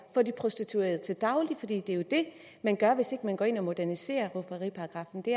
for de prostituerede til daglig for det er jo det man gør hvis ikke man går ind og moderniserer rufferiparagraffen det